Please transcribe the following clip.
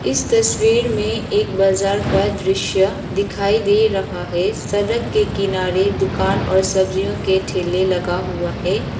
इस तस्वीर में एक बजार का दृश्य दिखाई दे रहा है सड़क के किनारे दुकान और सब्जियों के ठेले लगा हुआ है।